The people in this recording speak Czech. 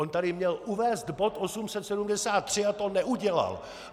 On tady měl uvést bod 873 a to neudělal!